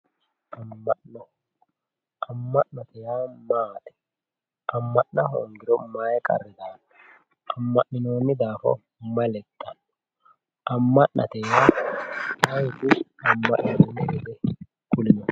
Amma'no amma'note yaa maati amma'na hoongiro mayi qarri daano amma'ninoonni daafo mayi lexxawo amma'nate yaa ayeeti alba hige abbinohu kulie